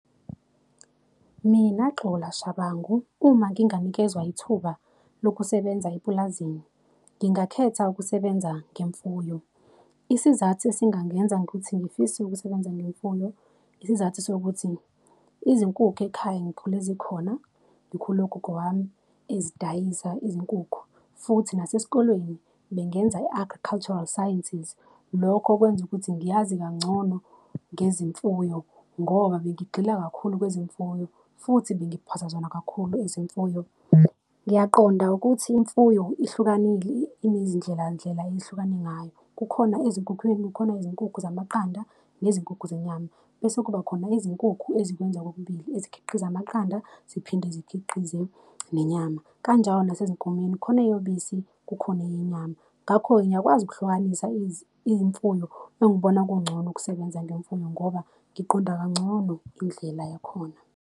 Mina, Xola Shabangu, uma nginganikezwa ithuba lokusebenza epulazini, ngingakhetha ukusebenza ngemfuyo. Isizathu esingangenza ukuthi ngifise ukusebenza ngemfuyo, isizathu sokuthi izinkukhu ekhaya, ngikhule zikhona, ngikhule ugogo wami ezidayisa izinkukhu, futhi nasesikolweni bengenza i-agricultural sciences. Lokho kwenza ukuthi ngiyazi kangcono ngezimfuyo ngoba bengigxila kakhulu kwezimfuyo, futhi bengiphasa zona kakhulu izemfuyo. Ngiyaqonda ukuthi imfuyo ihlukanile, inezindlelandlela ehlukane ngayo. Kukhona ezinkukhwini, kukhona izinkukhu zamaqanda nezinkukhu zenyama, bese kuba khona izinkukhu ezikwenza kokubili, ezikhiqiza amaqanda ziphinde zikhiqize nenyama. Kanjalo nasezinkomeni, khona eyobisi kukhona eyenyama. Ngakho-ke ngiyakwazi ukuhlukanisa imfuyo, engibona kungcono ukusebenza ngemfuyo ngoba ngiqonda kangcono indlela yakhona.